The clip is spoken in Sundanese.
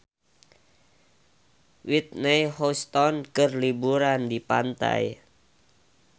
Whitney Houston keur liburan di pantai